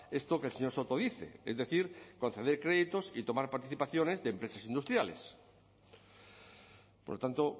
esto que el señor soto dice es decir conceder créditos y tomar participaciones de empresas industriales por lo tanto